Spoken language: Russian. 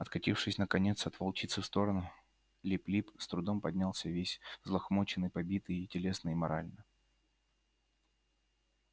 откатившись наконец от волчицы в сторону лип лип с трудом поднялся весь взлохмаченный побитый и телесно и морально